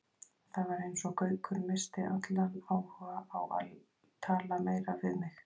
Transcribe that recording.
Það var eins og Gaukur missti allan áhuga á að tala meira við mig.